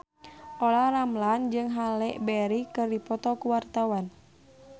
Olla Ramlan jeung Halle Berry keur dipoto ku wartawan